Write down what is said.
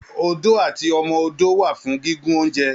Odó àti ọmọ ọdọ wà fún gígùn ounjẹ.